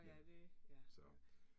Men, så